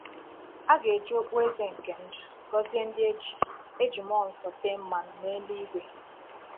A ga-eji “okpueze nke ndụ” gọzie ndị e ji e ji mmụọ nsọ tee mmanụ n’eluigwe.